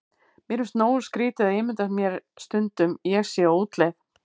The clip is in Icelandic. Mér finnst nógu skrýtið að ímynda mér stundum ég sé á útleið.